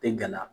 Tɛ gana